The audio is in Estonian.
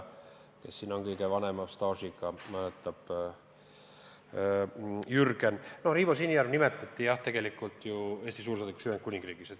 Siin kõige pikema staažiga Jürgen küllap mäletab, et Riivo Sinijärv nimetati Eesti suursaadikuks Ühendkuningriigis.